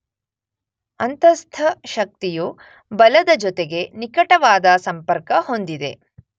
ಅಂತಸ್ಥಶಕ್ತಿಯು ಬಲದ ಜೊತೆಗೆ ನಿಕಟವಾದ ಸಂಪರ್ಕ ಹೊಂದಿದೆ.